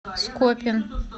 скопин